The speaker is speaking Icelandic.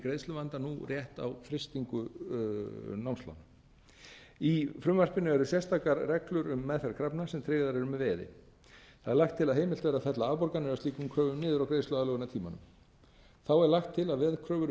greiðsluvanda nú rétt á frystingu námslána í frumvarpinu eru sérstakar reglur um meðferð krafna sem tryggðar eru með veði það er lagt til að heimild verði að fella afborganir af slíkum kröfum niður á greiðsluaðlögunartímanum þá er lagt til að veðkröfur